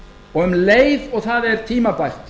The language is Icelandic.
og um leið og það er tímabært